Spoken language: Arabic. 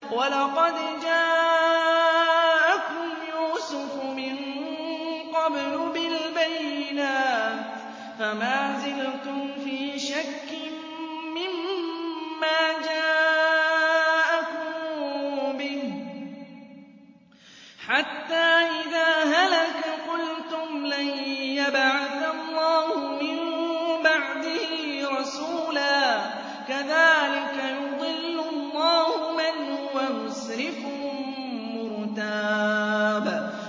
وَلَقَدْ جَاءَكُمْ يُوسُفُ مِن قَبْلُ بِالْبَيِّنَاتِ فَمَا زِلْتُمْ فِي شَكٍّ مِّمَّا جَاءَكُم بِهِ ۖ حَتَّىٰ إِذَا هَلَكَ قُلْتُمْ لَن يَبْعَثَ اللَّهُ مِن بَعْدِهِ رَسُولًا ۚ كَذَٰلِكَ يُضِلُّ اللَّهُ مَنْ هُوَ مُسْرِفٌ مُّرْتَابٌ